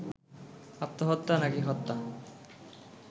আত্মহত্যা নাকি হত্যা